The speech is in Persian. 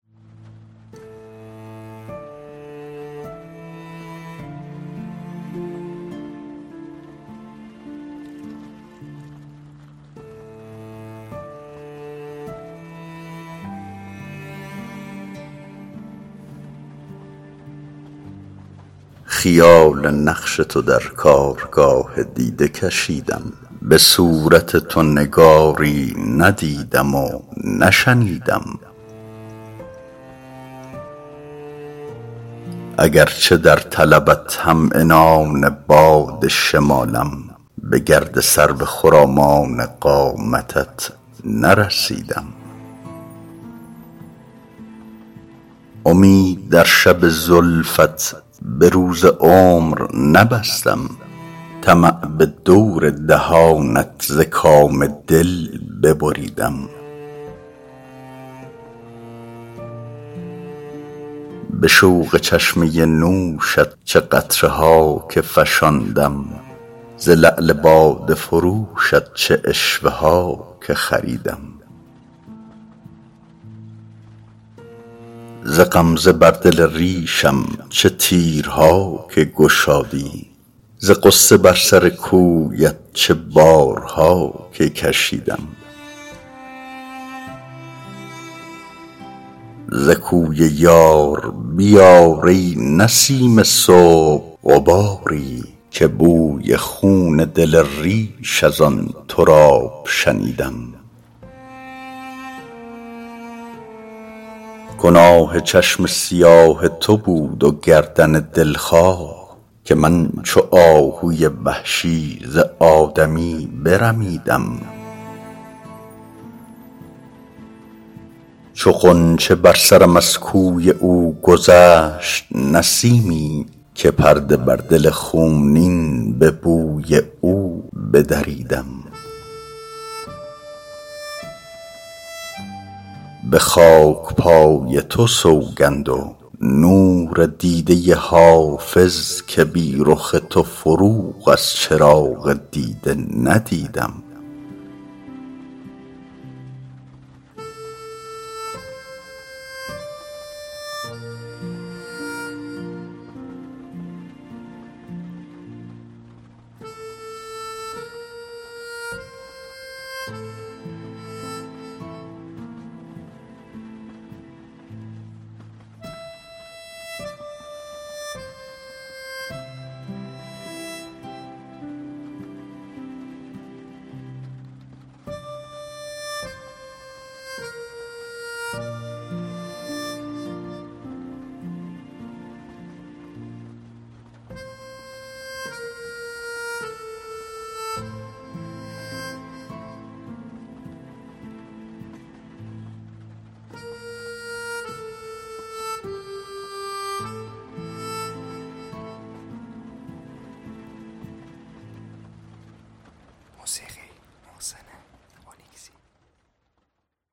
خیال نقش تو در کارگاه دیده کشیدم به صورت تو نگاری ندیدم و نشنیدم اگرچه در طلبت هم عنان باد شمالم به گرد سرو خرامان قامتت نرسیدم امید در شب زلفت به روز عمر نبستم طمع به دور دهانت ز کام دل ببریدم به شوق چشمه نوشت چه قطره ها که فشاندم ز لعل باده فروشت چه عشوه ها که خریدم ز غمزه بر دل ریشم چه تیرها که گشادی ز غصه بر سر کویت چه بارها که کشیدم ز کوی یار بیار ای نسیم صبح غباری که بوی خون دل ریش از آن تراب شنیدم گناه چشم سیاه تو بود و گردن دلخواه که من چو آهوی وحشی ز آدمی برمیدم چو غنچه بر سرم از کوی او گذشت نسیمی که پرده بر دل خونین به بوی او بدریدم به خاک پای تو سوگند و نور دیده حافظ که بی رخ تو فروغ از چراغ دیده ندیدم